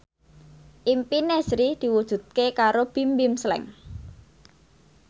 impine Sri diwujudke karo Bimbim Slank